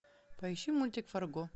поищи мультик фарго